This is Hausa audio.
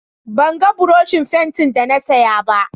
ban ga buroshin fenti da na saya ba